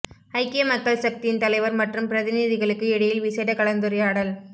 ஐக்கிய மக்கள் சக்தியின் தலைவர் மற்றும் பிரதிநிதிகளுக்கு இடையில் விசேட கலந்துரையாடல்